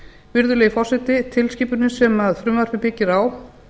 virðulegi forseti tilskipunin sem frumvarpið byggir á